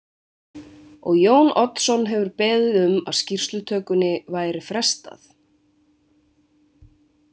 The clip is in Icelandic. Og Jón Oddsson hefur beðið um að skýrslutökunni væri frestað.